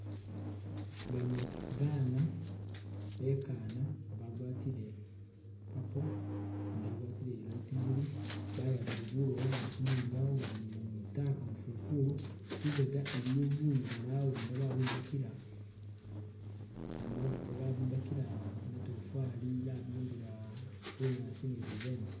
Bano bana bekana bagwatile purple gundi agwatile ye light blue bayabile bulowo bali kumwinyawo bali mwitaka mufukulu lubega iliyo buyu bworawunda babwimbakila matofali babimbakila bunyaasi ni lubembe.